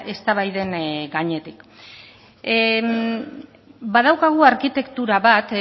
eztabaiden gainetik badaukagu arkitektura bat